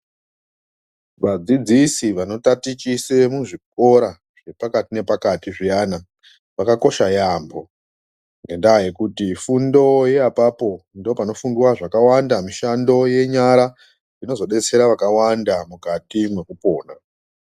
Va dzidzisi vano tatichise mu zvikora zve pakati ne pakati zviyana vakakosha yambo ngenda yekuti fundo ye apapo ndo pano fundwa zvaka wanda mishando ye nyara inozo detsera vaka wanda mukati mweku pona.